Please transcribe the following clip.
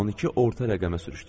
12 orta rəqəmə sürüşdürdüm.